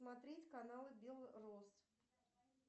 смотреть каналы белрос